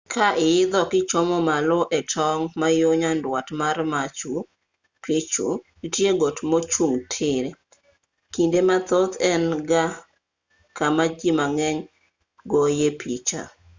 ka iidho kichomo malo e tong' ma yo nyandwat mar machu picchu nitie got mochung' tir kinde mathoth en e kama ji mang'eny goyoe picha